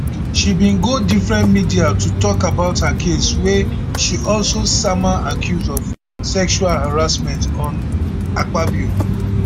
she been go different media to tok about her case wia she also sama accuse of sexual harassment on akpabio